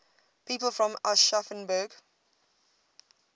people from aschaffenburg